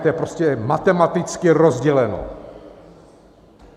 To je prostě matematicky rozděleno.